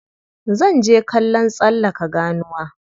Zan je kallon tsallaka ganuwa.